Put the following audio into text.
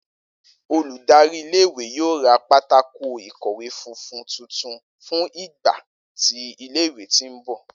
Oludari ìle-ìwe yoo ra pátákó ìkọ́wé funfun tuntun fun igba ti ile-iwe ti nbọ.